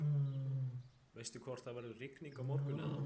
veistu hvort það verður rigning á morgun eða